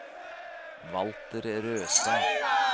Walter Røstad